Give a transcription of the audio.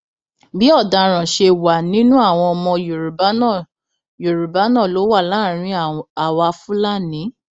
bí ọdaràn ṣe wà nínú àwọn ọmọ yorùbá náà yorùbá náà ló wà láàrin àwa fúlàní